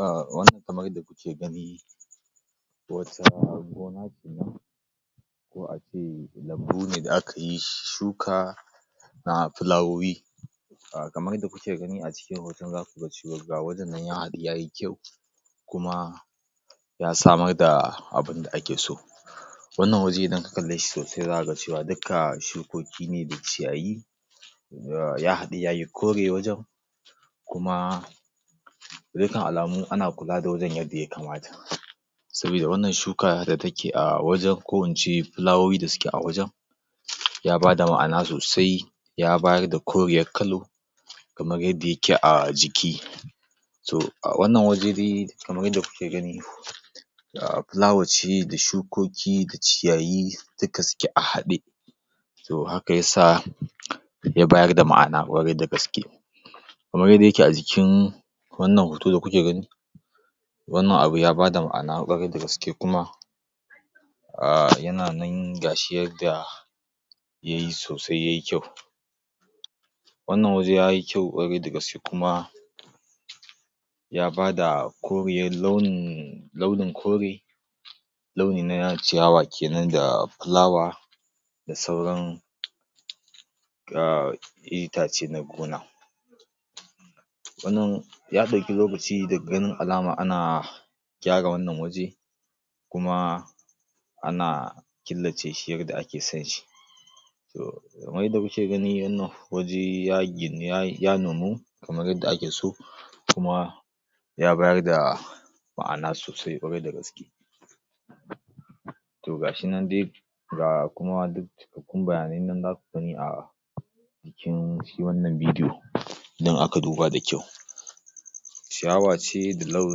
A wannan kamar yadda kuke gani wato gona ce nan ko a ce lambu ne da aka yi shuka na filawowi a kamar yadda kuke gani a cikin hoton ga gurin nan ya yi kyau kuma ya samar da abin da ake so wannan waje idan ka kalle shi sosai za ka ga cewa dukka shukoki ne da ciyayi da ya haɗu ya yi kore wajen kuma dukkan alamu ana kula da wajen yadda ya kamata sabida wannan shuka da take a wajen ko in ce filawowi da suke a wajen ya bada ma'ana sosai ya bayar da koriyar kalo kamar yadda yake a jiki to a wannan waje dai kamar yadda kuke gani da fulawar ce da shukoki da ciyayi duka suke a haɗe to haka ya sa ya bayar da ma'ana ƙwarai da gaske kamar dai yadda yake a jikin wannan hoto da kuke gani wannan abu ya bada ma'ana ƙwarai da gaske kuma a yana nan ga shi yadda ya yi sosai ya yi kyau wannan waje yayi kyau ƙwarai da gaske ya bada kriyar launin kore launi na ciya kewan da filawa da sauran ga itace na gona. wannan ya ɗauki lokaci daga ganin alama ana gyara wannan waje kuma ana killace yadda ake sonshi to kamar yadda muke gani wannan waje ya ginu ya nomu yadda ake so. kuma ya bayar da ma'ana sosai ƙwarai da gaske. to ga shi nan dai ga cukakkun bayani nai nan za ku gani a a jikin shi wannan bidiyo idan aka duba da kyau. ciyawa ce da lau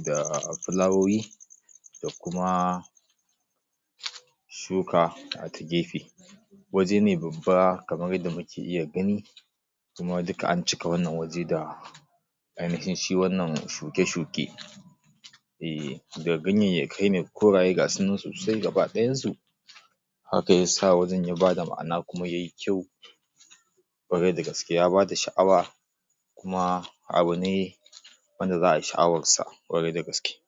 da filawowi shuka a ta gefe wajene babba kamar yadda kuke iya gani kuma duka an cika wannan waje da da ainihin shi wannan waje eh da ganyayyakai ne koraye ga su nan gaba ɗayansu haka ya sa wajen ya bada ma'ana kuma ya yi kyau ƙwarai da gaske ya bada sha'awa kuma abu ne wanda za ai sha'awarsa ƙwarai da gaske.